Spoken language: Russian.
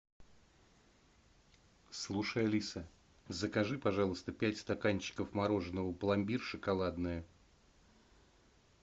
слушай алиса закажи пожалуйста пять стаканчиков мороженого пломбир шоколадное